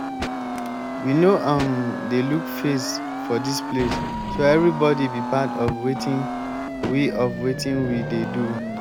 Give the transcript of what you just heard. we no um dey look face for dis place so everybody be part of wetin we of wetin we dey do